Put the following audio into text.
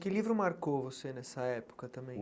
Que livro marcou você nessa época também?